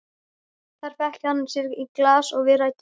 Þar fékk hann sér í glas og við ræddum saman.